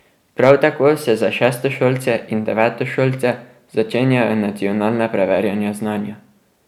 Prav tako se za šestošolce in devetošolce začenjajo nacionalna preverjanja znanja.